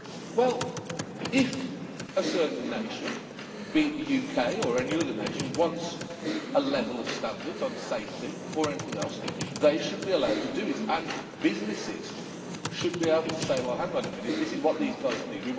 Well, if a certain nation be it the UK or any other nation wants a level of standards on safety or anything else, they should be allowed to do it and businesses should be able to say hang on a minute, this is what these guys need.